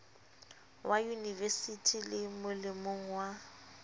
wa yunivesithi le molemong wa